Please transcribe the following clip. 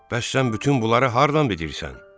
Bəs sən bütün bunları hardan bilirsən?